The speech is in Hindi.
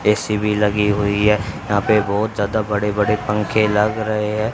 ए_सी भी लगी हुई है यहां पे बहोत ज्यादा बड़े बड़े पंखे लग रहे हैं।